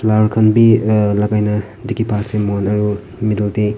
flower khan bi ah lagaina dikhi pai ase moikhan aru middle te.